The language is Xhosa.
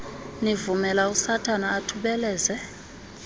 nivumela usathana athubeleze